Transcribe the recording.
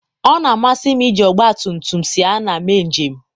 ọ na-amasị m iji ọgbatumtum siana mee njem.